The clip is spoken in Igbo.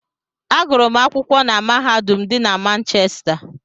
Agụrụ m akwụkwọ na mahadum dị na Manchesta.